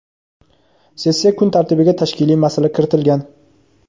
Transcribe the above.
Sessiya kun tartibiga tashkiliy masala kiritilgan.